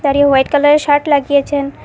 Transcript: আর এ হোয়াইট কালারের শার্ট লাগিয়েছেন।